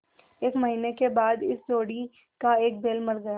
एक महीने के बाद इस जोड़ी का एक बैल मर गया